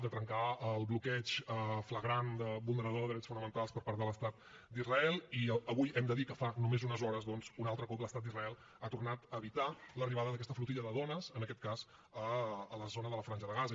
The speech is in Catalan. de trencar el bloqueig flagrant vulnerador de drets fonamentals per part de l’estat d’israel i avui hem de dir que fa només unes hores doncs un altre cop l’estat d’israel ha tornat a evitar l’arribada d’aquesta flotilla de dones en aquest cas a la zona de la franja de gaza